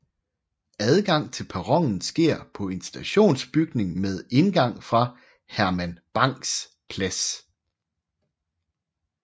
Adgang til perronen sker fra en stationsbygning med indgang fra Herman Bangs Plads